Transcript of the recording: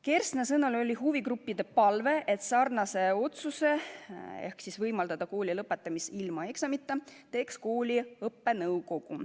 Kersna sõnul oli huvigruppide palve, et otsuse võimaldada kooli lõpetada ilma eksamiteta teeks kooli õppenõukogu.